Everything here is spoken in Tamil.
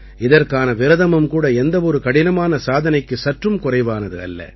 இதற்கான விரதமும் கூட எந்தவொரு கடினமான சாதனைக்கு சற்றும் குறைவானது அல்ல